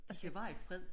De kan være i fred